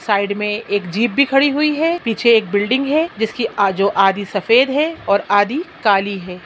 Side में एक jeep भी खड़ी हुई है पीछे एक बिल्डिंग है जिसकी आजो-जो आधी सफ़ेद है और आधी काली है।